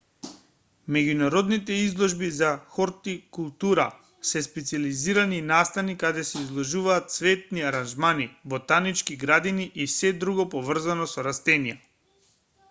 меѓународните изложби за хортикултура се специјализирани настани каде се изложуваат цветни аранжмани ботанички градини и сѐ друго поврзано со растенија